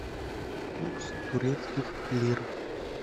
курс турецких лир